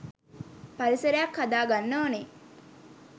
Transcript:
පරිසරයක් හදාගන්න ඕනෙ.